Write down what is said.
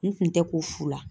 N kun tɛ ko fula.